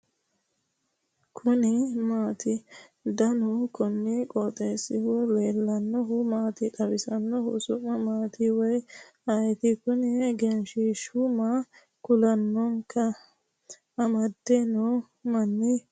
kuni maati ? danu kuni qooxeessaho leellannohu maa xawisanno su'mu maati woy ayeti ? kuni egenshshiishu maa kulannohoikka amade noohu manna lawanno ?